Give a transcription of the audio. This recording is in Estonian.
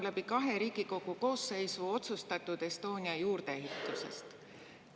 Jutt on kahes Riigikogu koosseisus otsustatud Estonia juurdeehitisest.